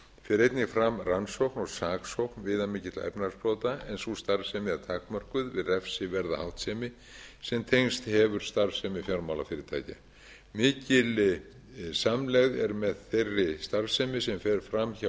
fer einnig fram rannsókn og saksókn viðamikilla efnahagsbrota en sú starfsemi er takmörkuð við refsiverða háttsemi sem tengst hefur starfsemi fjármálafyrirtækja mikil samlegð er með þeirri starfsemi sem fram fram hjá